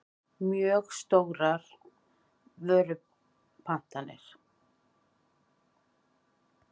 mjög stórar vörupantanir.